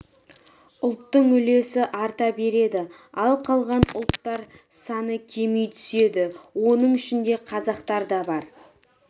ұлттың үлесі арта береді ал қалған ұлттар саны кеми түседі оның ішінде қазақтар да бар